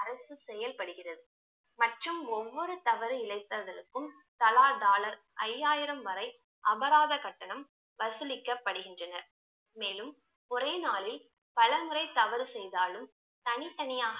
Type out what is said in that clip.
செயல்படுகிறது மற்றும் ஒவ்வொரு தவறு இழைப்பதற்கும் தலா dollar ஐயாயிரம் வரை அபராத கட்டணம் வசூலிக்கப்படுகின்றன மேலும் ஒரே நாளில் பலமுறை தவறு செய்தாலும் தனித்தனியாக